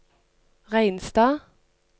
Reinstad